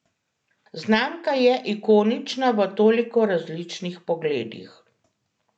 Znamka je ikonična v toliko različnih pogledih.